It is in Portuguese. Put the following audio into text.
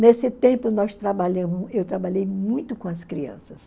Nesse tempo, nós trabalhamos eu trabalhei muito com as crianças.